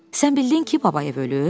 Sən bildin ki, Babayev ölüb?